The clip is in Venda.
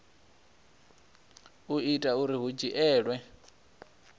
u itela uri hu dzhielwe